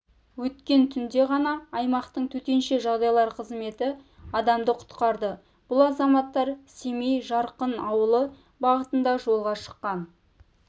өткен түнде ғана аймақтың төтенше жағдайлар қызметі адамды құтқарды бұл азаматтар семей-жарқын ауылы бағытында жолға шыққан